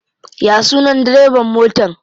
Ya sunan direban motan?